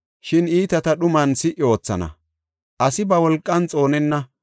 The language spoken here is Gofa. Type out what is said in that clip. “I geeshshata tohuwa naagees; shin iitata dhuman si77i oothana; asi ba wolqan xoonenna;